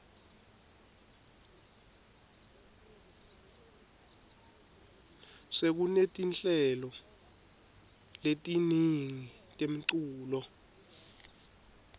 sekunetinhlelo letiningi temculo